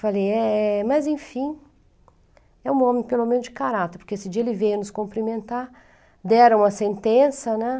Falei, é, mas enfim, é um homem pelo menos de caráter, porque esse dia ele veio nos cumprimentar, deram a sentença, né?